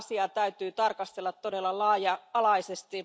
Tätä asiaa täytyy tarkastella todella laaja alaisesti.